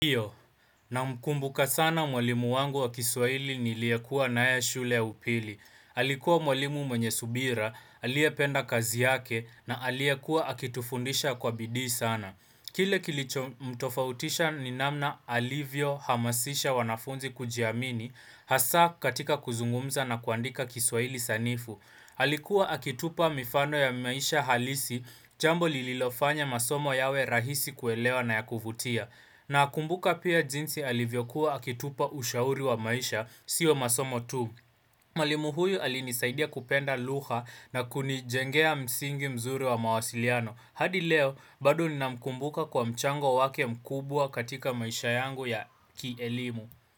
Iyo, na mkumbuka sana mwalimu wangu wa kiswaili niliyekua naye shule ya upili. Alikuwa mwalimu mwenye subira, alie penda kazi yake, na alie kuwa akitufundisha kwa bidii sana. Kile kilichomtofautisha ninamna alivyo hamasisha wanafunzi kujiamini, hasa katika kuzungumza na kuandika kiswahili sanifu. Alikuwa akitupa mifano ya maisha halisi jambo lililofanya masomo yawe rahisi kuelewa na ya kuvutia. Na kumbuka pia jinsi alivyokuwa akitupa ushauri wa maisha sio masomo tu. Mwalimu huyu alinisaidia kupenda luha na kunijengea msingi mzuri wa mawasiliano. Hadi leo bado nina mkumbuka kwa mchango wake mkubwa katika maisha yangu ya kielimu.